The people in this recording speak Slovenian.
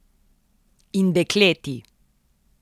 In dekleti.